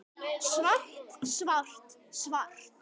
Svart, svart, svart.